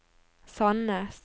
Sandnes